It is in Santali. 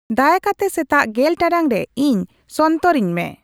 ᱫᱟᱭᱟᱠᱟᱛᱮ ᱥᱮᱛᱟᱜ ᱜᱮᱞ ᱴᱟᱲᱟᱝ ᱨᱮ ᱤᱧ ᱥᱚᱱᱛᱚᱨ ᱤᱧᱢᱮ